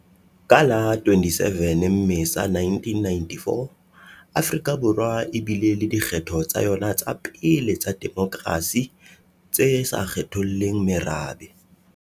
Ka la 27 Mmesa 1994, Afrika Borwa e bile le dikgetho tsa yona tsa pele tsa demokrasi tse sa kgetholleng merabe.